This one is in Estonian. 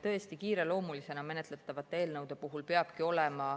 Tõesti, kiireloomulisena menetletavate eelnõude puhul peabki olema